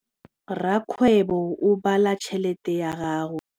Rakgwêbô o bala tšheletê ya gagwe.